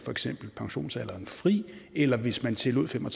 pensionsalderen fri eller hvis man tillod fem og